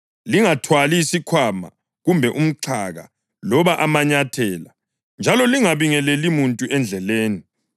Lingathwali isikhwama kumbe umxhaka loba amanyathela; njalo lingabingeleli muntu endleleni.